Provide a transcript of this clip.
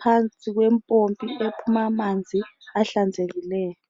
phansi kwempompi uphuma amanzi ahlanzekileyo.